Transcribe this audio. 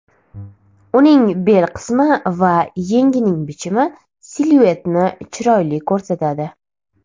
Uning bel qismi va yengining bichimi siluetni chiroyli ko‘rsatadi.